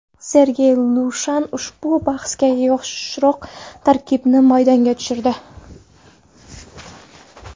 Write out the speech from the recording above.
Sergey Lushan ushbu bahsga yoshroq tarkibni maydonga tushirdi.